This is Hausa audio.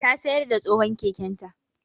Ta sayar da tsohon keken ta